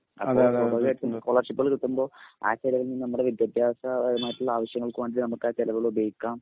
സ്കോളർഷിപ്പുകള് കിട്ടുമ്പോൾ ആ ചെലവിൽ നിന്ന് നമ്മുടെ വിദ്യാഭ്യാസപരമായിട്ടുള്ള ആവശ്യങ്ങൾക്കുവേണ്ടി നമുക്ക് ആ ചെലവുകൾ ഉപയോഗിക്കാം.